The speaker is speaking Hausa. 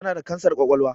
Tana da kansar ƙwaƙwalwa